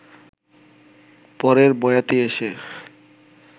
পরের বয়াতি এসে